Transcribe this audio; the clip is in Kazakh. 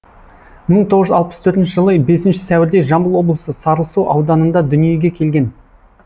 мың тоғыз жүз алпыс төртінші жылы бесінші сәуірде жамбыл облысы сарысу ауданында дүниеге келген